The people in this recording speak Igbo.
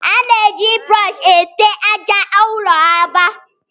A na-eji brọọshị ete àjà ụlọ agba